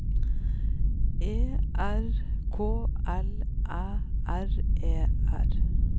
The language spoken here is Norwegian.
E R K L Æ R E R